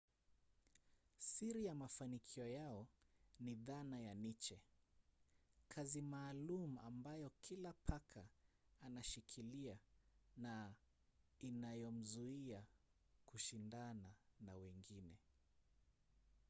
siri ya mafanikio yao ni dhana ya niche kazi maalum ambayo kila paka anashikilia na inayomzuia kushindana na wengine